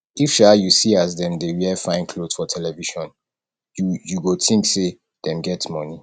if um you see as dem dey wear fine clot for television you you go tink sey dem get moni